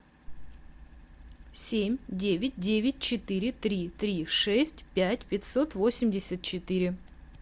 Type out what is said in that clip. семь девять девять четыре три три шесть пять пятьсот восемьдесят четыре